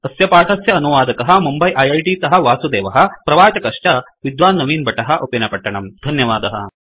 अस्य पाठस्य अनुवादकः मुम्बै ऐ ऐ टि तःवासुदेवः प्रवाचकश्च विद्वान् नवीन भट्टः उप्पिनपट्टणम् धन्यवादः